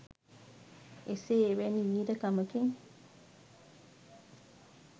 එසේ එවැනි වීර කමකින්